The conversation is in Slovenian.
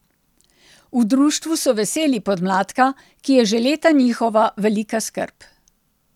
V društvu so veseli podmladka, ki je že leta njihova velika skrb.